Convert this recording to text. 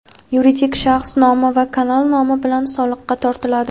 yuridik shaxs nomi va kanal nomi bilan soliqqa tortiladi.